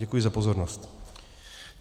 Děkuji za pozornost.